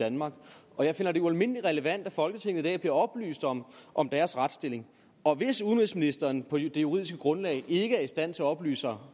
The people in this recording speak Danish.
danmark og jeg finder det ualmindelig relevant at folketinget i dag bliver oplyst om om deres retsstilling og hvis udenrigsministeren på det juridiske grundlag ikke er i stand til at oplyse